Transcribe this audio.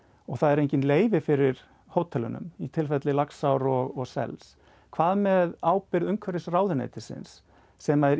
og það eru engin leyfi fyrir hótelunum í tilfelli Laxár og sels hvað með ábyrgð umhverfisráðuneytisins sem er